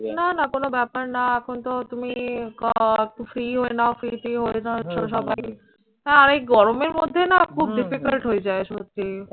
না না কোন ব্যাপার না। এখন তো তুমি free হয়ে নাও free ট্রি হয়ে আর এই গরমের মধ্যে না খুব difficult হয়ে যাই সত্যি